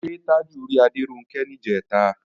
Ṣé Tájù rí Adéronkẹ́ níjẹ̀ta?